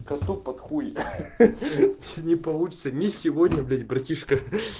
коту под хуй ха-ха не получится не сегодня блять братишка